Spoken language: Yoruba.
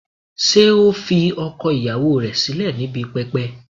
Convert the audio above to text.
Ṣé ó fi ọkọ ìyàwó rẹ̀ sílẹ̀ níbi pẹpẹ?